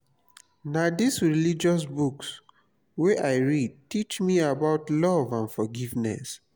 na dis religious books wey i read teach me about love and forgiveness.